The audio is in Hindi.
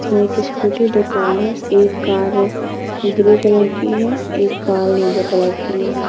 इसमें एक स्कूटी दो कार है। एक कार ग्रे कलर की है एक कार नीले कलर की है।